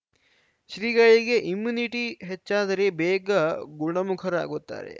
ಶ್ರೀಗಳಿಗೆ ಇಮ್ಯುನಿಟಿ ಹೆಚ್ಚಾದರೆ ಬೇಗ ಗುಣಮುಖರಾಗುತ್ತಾರೆ